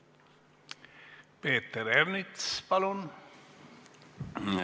Peeter Ernits, palun!